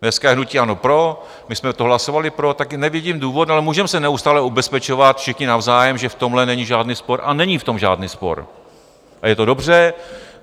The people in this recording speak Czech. Dneska je hnutí ANO pro, my jsme to hlasovali pro, tak nevidím důvod, ale můžeme se neustále ubezpečovat všichni navzájem, že v tomhle není žádný spor - a není v tom žádný spor a je to dobře.